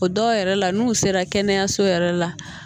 O dɔw yɛrɛ la n'u sera kɛnɛyaso yɛrɛ la